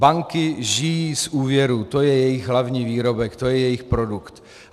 Banky žijí z úvěrů, to je jejich hlavní výrobek, to je jejich produkt.